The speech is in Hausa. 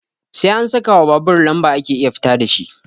Sai an sakawa babur lamba ake iya fita dashi